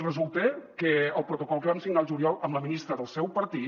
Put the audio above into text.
resulta que el protocol que vam signar al juliol amb la ministra del seu partit